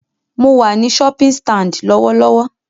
Mo wà ní shopping stand lọ́wọ́lọ́wọ́